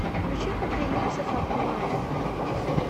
включи кукрыниксов обнимай